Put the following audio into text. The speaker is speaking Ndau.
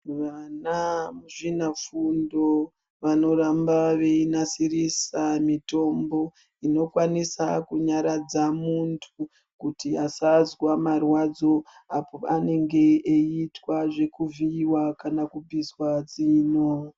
Vanamuzvinafundo vanoramba veinasirisa mutombo, inokwanisa kunyaradza muntu kuti asazwa marwadzo, apo panenge eiitwa zvekuvhiiwa kana kubviswa zino.